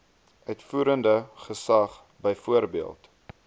uitvoerende gesag byvoorbeeld